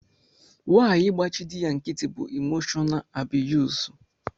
Nwanyi ịgbachi dị ya nkịtị bú imoshọnaal abiyuz.